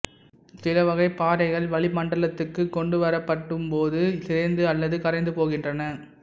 சிலவகைப் பாறைகள் வளிமண்டலத்துக்குக் கொண்டுவரப்படும் போது சிதைந்து அல்லது கரைந்து போகின்றன